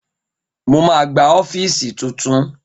Mo ma gba ọ́fíìsì tuntun